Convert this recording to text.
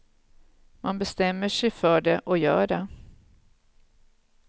Man bestämmer sig för det och gör det.